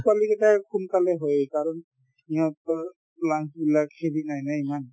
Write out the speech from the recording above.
পোৱালিকেইটাৰ সোনকালে হয় কাৰণ ইহঁতৰ lung বিলাক নাই না ইমান